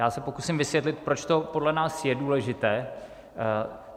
Já se pokusím vysvětlit, proč to podle nás je důležité.